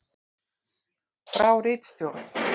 Frá ritstjórn: